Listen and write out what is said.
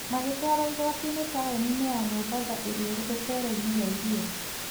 Magĩtwarũo igooti-inĩ taũni-inĩ ya Mombasa ĩrĩa ĩrĩ rũteere-inĩ rwa iria.